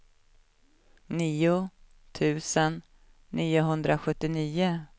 nio tusen niohundrasjuttionio